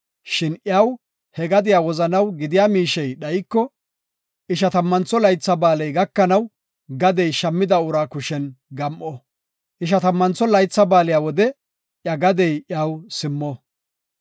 Shin iyaw he gadiya wozanaw gidiya miishey dhayiko, Ishatammantho Laytha Ba7aaley gakanaw gadey shammida uraa kushen gam7o. Ishatammantho Laytha Ba7aale wode iya gadey iyaw simmo.